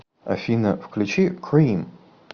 афина включи крим